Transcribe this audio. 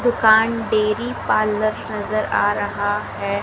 दुकान dairy parlour नजर आ रहा है।